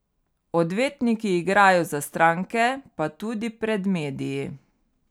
Odvetniki igrajo za stranke pa tudi pred mediji.